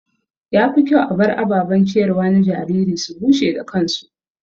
Ya fi kyau a bar ababen ciyarwa na jariri su bushe da kansu.